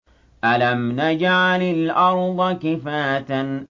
أَلَمْ نَجْعَلِ الْأَرْضَ كِفَاتًا